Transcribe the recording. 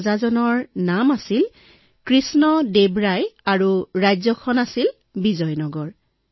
ৰজাজনৰ নাম আছিল কৃষ্ণ দেৱ ৰায় আৰু তেওঁৰ ৰাজ্যখনৰ নাম আছিল বিজয়নগৰ